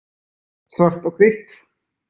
Svart og hvítt.